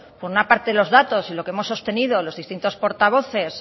por una parte los datos y lo que hemos sostenido los distintos portavoces